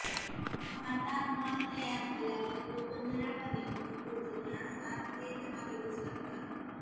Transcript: भारतात माल तयार झाल्यावर तो बंदरापर्यंत पोहोचण्यास सात ते दहा दिवस लागतात